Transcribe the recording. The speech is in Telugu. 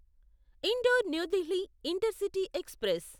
indoor New Delhi intercity express